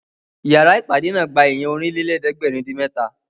Ìyára ìpàdé náà gba èèyàn Ọ̀rìnlélẹ̀ẹ́dẹ́gbèrin-dín-mẹ́ta